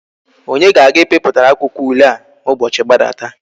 Onye ga aga I piputara akwuakwo ule a ma ubochi gbadata?